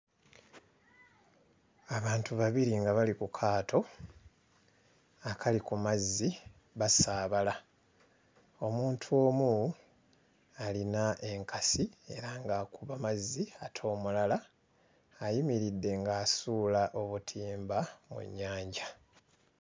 Abantu babiri nga bali ku kaato akali ku mazzi basaabala. Omuntu omu alina enkasi era ng'akuba mazzi ate omulala ayimiridde ng'asuula obutimba mu nnyanja.